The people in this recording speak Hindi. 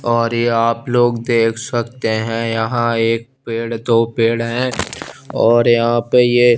और ये आप लोग देख सकते हैं यहां एक पेड़ तो पेड़ है और यहां पे ये--